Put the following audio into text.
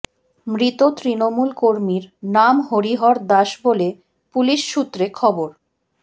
মৃত তৃণমূল কর্মীর নাম হরিহর দাস বলে পুলিশ সূত্রে খবর